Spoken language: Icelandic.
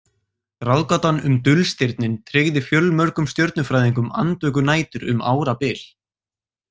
Ráðgátan um dulstirnin tryggði fjölmörgum stjörnufræðingum andvökunætur um árabil.